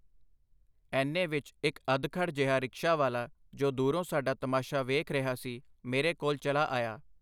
ਏਨੇ ਵਿਚ ਇਕ ਅਧਖੜ ਜਿਹਾ ਰਿਕਸ਼ਾ ਵਾਲਾ, ਜੋ ਦੂਰੋਂ ਸਾਡਾ ਤਮਾਸ਼ਾ ਵੇਖ ਰਿਹਾ ਸੀ, ਮੇਰੇ ਕੋਲ ਚਲਾ ਆਇਆ.